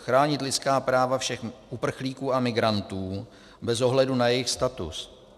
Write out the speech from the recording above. Chránit lidská práva všech uprchlíků a migrantů bez ohledu na jejich status.